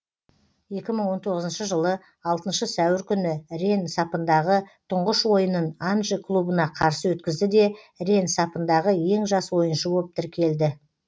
екі мың он тоғызыншы жылы алтыншы сәуір күні ренн сапындағы тұңғыш ойынын анже клубына қарсы өткізді де ренн сапындағы ең жас ойыншы боп тіркелді